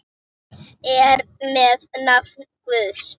Eins er með nafn Guðs.